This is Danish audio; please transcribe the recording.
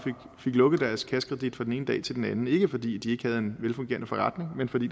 fik lukket deres kassekredit fra den ene dag til den anden ikke fordi de ikke havde en velfungerende forretning men fordi